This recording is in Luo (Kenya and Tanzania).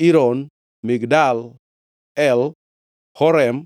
Iron, Migdal El, Horem,